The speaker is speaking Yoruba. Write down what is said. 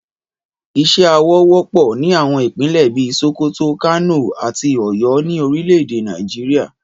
Ìṣe awọ wọ́pọ̀ ní àwọn Ìpínlẹ̀ bí i Sokoto, Kano àti Ọ̀yọ́ ní orílẹ̀ èdè Nàìjíríà